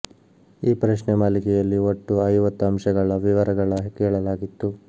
ಈ ಪ್ರಶ್ನೆ ಮಾಲಿಕೆಯಲ್ಲಿ ಒಟ್ಟು ಐವತ್ತು ಅಂಶಗಳ ವಿವರಗಳ ಕೇಳಲಾಗಿತ್ತು